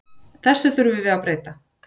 Þessu þurfum við að breyta.